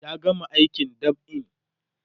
ya gama aikin dab'in